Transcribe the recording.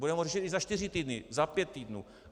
Budeme ho řešit i za čtyři týdny, za pět týdnů.